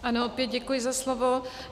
Ano, opět děkuji za slovo.